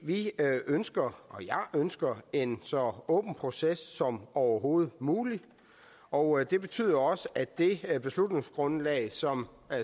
vi ønsker og jeg ønsker en så åben proces som overhovedet muligt og det betyder også at det beslutningsgrundlag som